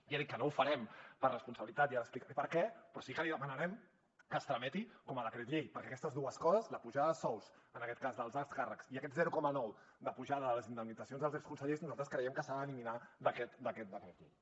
i he dit que no ho farem per responsabilitat i ara explicaré per què però sí que li demanarem que es tramiti com a projecte llei perquè aquestes dues coses la pujada de sous dels alts càrrecs i aquest zero coma nou de pujada de les indemnitza cions dels exconsellers nosaltres creiem que s’han d’eliminar d’aquest decret llei